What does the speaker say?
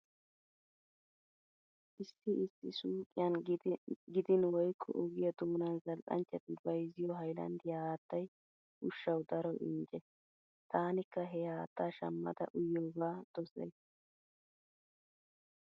Issi issi suuqiyan gidin woykko ogiya doonan zal"anchchati bayzziyo haylanddiya haattay ushshawu daro injje. Taanikka he haattaa shammada uyiyogaa dosays.